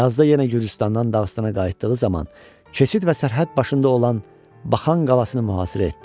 Yazda yenə Gürcüstandan Dağıstana qayıtdığı zaman keçid və sərhəd başında olan Baxan qalasını mühasirə etdi.